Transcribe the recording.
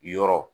Yɔrɔ